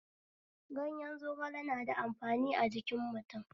Gayen zogale na da amfani a jikin mutum